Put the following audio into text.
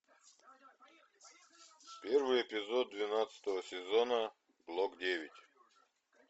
первый эпизод двенадцатого сезона блок девять